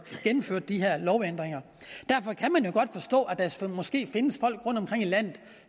gennemførte de her lovændringer derfor kan man jo godt forstå at der måske findes folk rundtomkring i landet